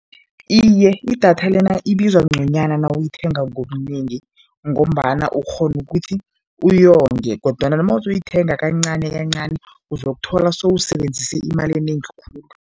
Iye, idatha lena ibizwa ngconywana nawuyithenga ngobunengi ngombana ukghona ukuthi uyonge kodwana mawuzoyithenga kancanikancani uzokuthola sewusebenzise imali enengi khulu.